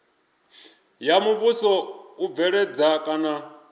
ya muvhuso u bveledza kana